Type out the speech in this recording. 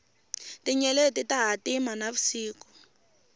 tinyeleti ta hatima na vusiku